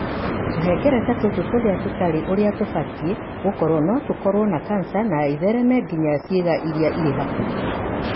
Tũhengereta tũtũ tũrĩa tũtarĩ ũrĩa tũbatie gũkorũo no tũkorũo kanca na ĩthereme nginya ciĩga iria irĩ hakuhĩ.